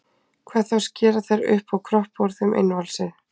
Hvað þá að skera þær upp og kroppa úr þeim innvolsið.